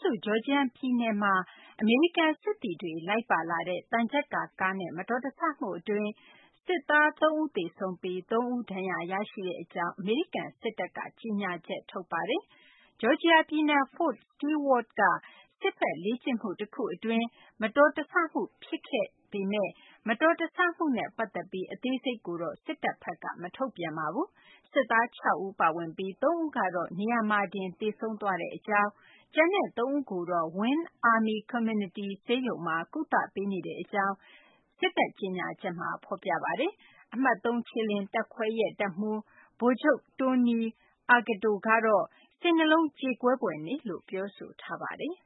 စု ဂျော်ဂျီယာပြည်နယ်မှာ အမေရိကန်စစ်သည်တွေ လိုက်ပါလာတဲ့ သံချပ်ကာကားနဲ့ မတော်တဆမှုအတွင်း စစ်သား ၃ ဦး သေဆုံးပြီး ၃ ဦး ဒဏ်ရာရရှိကြောင်း အမေရိကန်စစ်တပ်က ကြေညာချက်ကို ကိုးကားပြီး AFP သတင်းက ဖော်ပြပါတယ်။ ဂျော်ဂျီယာပြည်နယ် Fort Stewart က စစ်ဘက်လေ့ကျင့်မှု တခုအတွင်း မတော်တဆမှု ဖြစ်ခဲ့ပေမယ့် မတော်တဆမှု အသေးစိတ်ကိုတော့ စစ်တပ်ဘက်က မထုတ်ပြန်ပါဘူး။ စစ်သား ၆ ဦး ပါဝင်ပြီး ၃ ဦးကတော့ နေရာမှာတင် သေဆုံးသွားကြောင်း၊ ကျန်တဲ့ ၃ ဦးကိုတော့ Winn Army Community ဆေးရုံမှာ ကုသပေးနေကြောင်း စစ်တပ် ကြေညာချက်မှာ ဖော်ပြပါတယ်။ အမှတ် ၃ ခြေလျင်တပ်ခွဲရဲ့ တပ်မှူး ဗိုလ်ချုပ် Tony Aguto ကတော့ စိတ်နှလုံးကြေကွဲဖွယ်နေ့လို့ ပြောဆိုပါတယ်